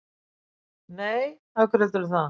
Nei, af hverju heldurðu það?